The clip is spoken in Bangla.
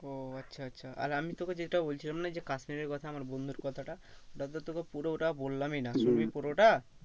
ও আচ্ছা আচ্ছা আর আমি তোকে যেটা বলছিলাম না যে কাশ্মীরের কথা আমার বন্ধুর কথাটা ওটা তো তোকে পুরো ওটা বললামই না। শুনবি পুরোটা?